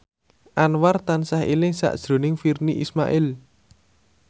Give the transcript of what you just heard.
Anwar tansah eling sakjroning Virnie Ismail